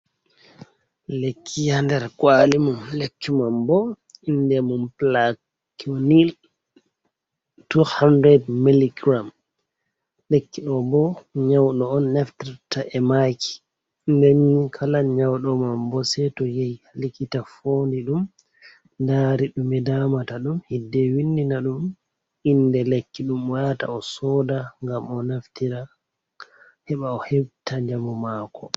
Lekki nder kwalimum, lekki mam bo inde mum pilakwinil 200mg. Lekki ɗo bo nyauɗo on naftirta e maki, nden kala nyauɗo mam bo sei to yehi ha likita fondi ɗum dari dumi damata dum, hidde windina ɗum inde lekki dum. Wata osoda ngam o naftira heɓa o hepta njamu mako.